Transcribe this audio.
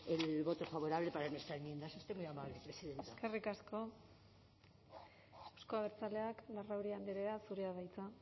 el voto favorable para nuestra enmienda es usted muy amable presidenta eskerrik asko euzko abertzaleak larrauri andrea zurea da hitza